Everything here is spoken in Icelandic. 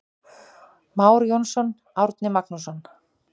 Már Jónsson, Árni Magnússon.